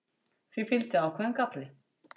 því fylgdi ákveðinn galli